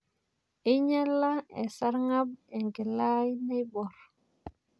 Einyala esarng'ab enkila ai naiborr.